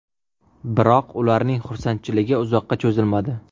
Biroq, ularning xursandchiligi uzoqqa cho‘zilmadi.